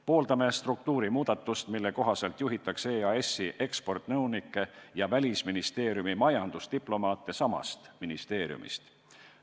Pooldame struktuurimuudatust, mille kohaselt juhitakse EAS-i ekspordinõunikke ja Välisministeeriumi majandusdiplomaate samast ministeeriumist.